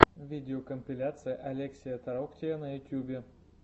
видеокомпиляция олексия тороктия на ютьюбе